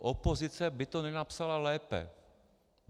Opozice by to nenapsala lépe.